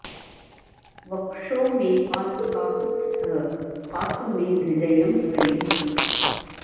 वक्षो मे पातु काकुत्स्थः पातु मे हृदयं हरिः